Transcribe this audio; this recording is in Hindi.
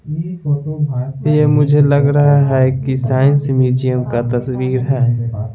यह मुझे लग रहा हैकि साइंस म्यूजियम का तस्वीर है।